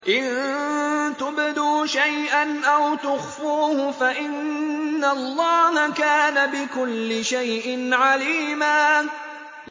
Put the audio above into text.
إِن تُبْدُوا شَيْئًا أَوْ تُخْفُوهُ فَإِنَّ اللَّهَ كَانَ بِكُلِّ شَيْءٍ عَلِيمًا